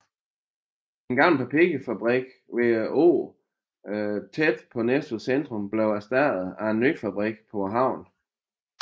Den gamle papirfabrik ved åen tæt på Næstveds centrum blev erstattet af en ny fabrik på havnen